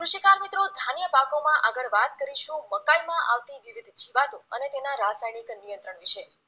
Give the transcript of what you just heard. કૃષિકાર મિત્રો ધાન્ય પાકોમાં આગળ વાત કરીશું મકાઈમાં આવતી વિવિધ જીવાતો અને તેના રાસાયણિક નિયંત્રણ વિશે